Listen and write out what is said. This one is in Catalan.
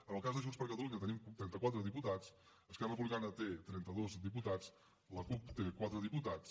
en el cas de junts per catalunya tenim trenta quatre diputats esquerra republicana té trenta dos diputats la cup té quatre diputats